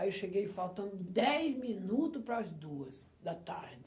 Aí eu cheguei faltando dez minuto para as duas da tarde.